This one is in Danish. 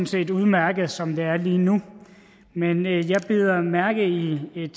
set udmærket som det er lige nu men jeg bider mærke i et